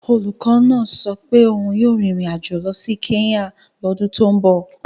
Olùkọ́ náà sọ pé òun yóò rin ìrìn àjò lọ sí Kenya lọ́dún tó ń bọ̀.